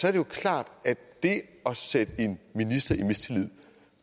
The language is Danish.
er jo klart at det at sætte en minister i mistillid